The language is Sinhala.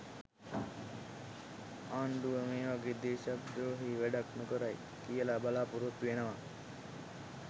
ආණ්ඩුව මේවගේ දේශද්‍රෝහී වැඩක් නොකරයි කියල බලාපොරත්තු වෙනවා.